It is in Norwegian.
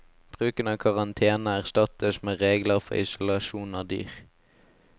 Bruken av karantene erstattes med regler for isolasjon av dyr.